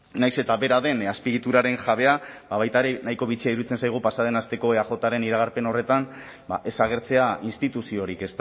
nahiz eta bera den azpiegituraren jabea baita ere nahiko bitxia iruditzen zaigu pasa den asteko eajren iragarpen horretan ez agertzea instituziorik